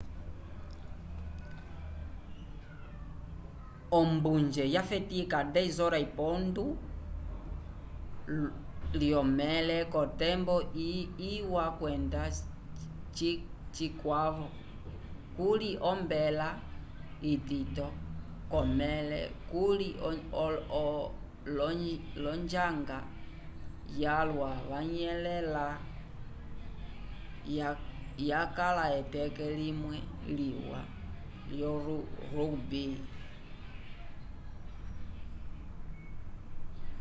ombunje yafetika ko 10:00 lyomẽle k'otembo iwa kwenda cikwavo kuli ombela itito k'omẽle okuti l'onjanga yalwa yanyelẽla yakala eteke limwe liwa lyo rugby lyo 7